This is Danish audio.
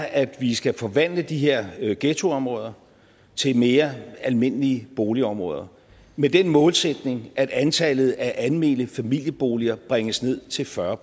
at vi skal forvandle de her her ghettoområder til mere almindelige boligområder med den målsætning at antallet af almene familieboliger bringes ned til fyrre